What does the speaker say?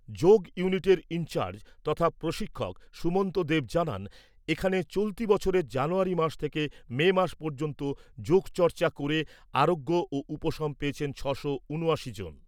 যোগ ইউনিটের ইনচার্জ তথা প্রশিক্ষক সুমন্ত দেব জানান, এখানে চলতি বছরের জানুয়ারী মাস থেকে মে মাস পর্যন্ত যোগচর্চা করে আরোগ্য ও উপশম পেয়েছেন ছশো ঊনআশি জন।